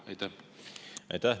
Aitäh!